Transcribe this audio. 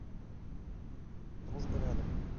дружба рядом